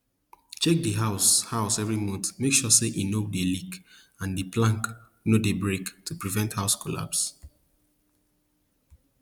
check di house house every month make sure say e no dey leak and di plank no dey break to prevent house collapse